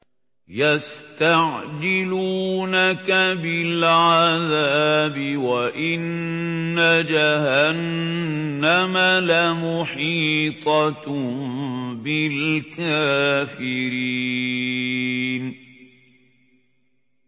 يَسْتَعْجِلُونَكَ بِالْعَذَابِ وَإِنَّ جَهَنَّمَ لَمُحِيطَةٌ بِالْكَافِرِينَ